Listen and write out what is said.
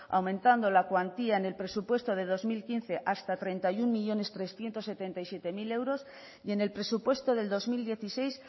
aumentando la cuantía en el presupuesto de dos mil quince hasta treinta y uno millónes trescientos setenta y siete mil euros y en el presupuesto del dos mil dieciséis